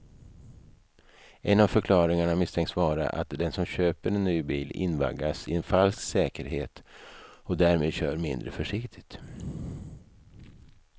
En av förklaringarna misstänks vara att den som köper en ny bil invaggas i en falsk säkerhet och därmed kör mindre försiktigt.